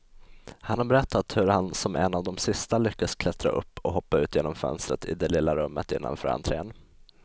Han har berättat hur han som en av de sista lyckas klättra upp och hoppa ut genom fönstret i det lilla rummet innanför entrén.